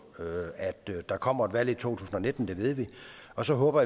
at der kommer et valg i to tusind og nitten det ved vi og så håber